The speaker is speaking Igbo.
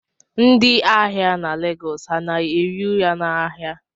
Ndị ahịa na Lagos ha na-ehi ụra n'ahịa